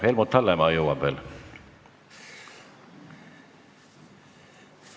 Helmut Hallemaa jõuab veel küsida.